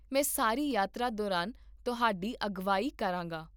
ਮੈਂ ਸਾਰੀ ਯਾਤਰਾ ਦੌਰਾਨ ਤੁਹਾਡੀ ਅਗਵਾਈ ਕਰਾਂਗਾ